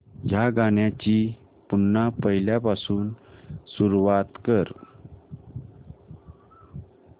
या गाण्या ची पुन्हा पहिल्यापासून सुरुवात कर